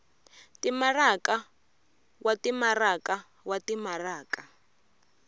timaraka wa timaraka wa timaraka